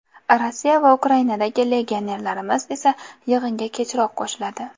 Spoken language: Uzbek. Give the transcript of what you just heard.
Rossiya va Ukrainadagi legionerlarimiz esa yig‘inga kechroq qo‘shiladi”.